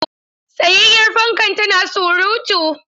Tsayayyar fankan tana surutu.